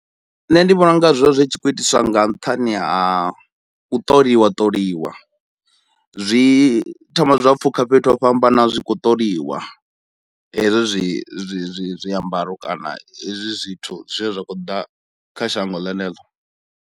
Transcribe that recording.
Nṋe ndi vhona unga zwo vha zwi tshi khou itiswa nga nṱhani ha u ṱoliwa ṱoliwa, zwi thoma zwa pfukha fhethu ho fhambanaho zwi khou ṱoliwa hezwo zwi zwi zwi zwiambaro kana hezwi zwithu zwine zwa khou ḓa kha shango ḽeneḽo.